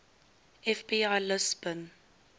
fbi lists bin